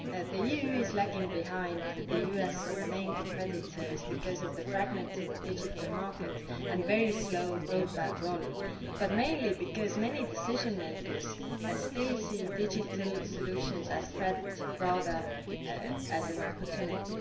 The EU is lagging behind the US and its main competitors because of the fragmented digital market and very slow broadband roll out, but mainly because many decision makers still see digital solutions as a threat rather than as an opportunity.